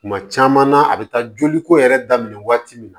Kuma caman na a bi taa joli ko yɛrɛ daminɛ waati min